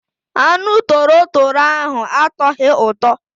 Anụ torotoro ahụ atọghị ụtọ.